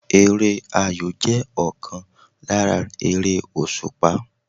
Eré ayò jẹ́ ọ̀kan lára eré òsùpá